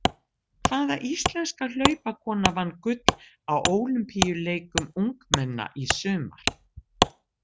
Hvaða íslenska hlaupakona vann gull á ólympíuleikum ungmenna í sumar?